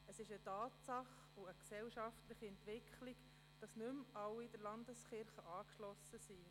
Es ist eine Tatsache und eine gesellschaftliche Entwicklung, dass nicht mehr alle Leute der Landeskirche angeschlossen sind.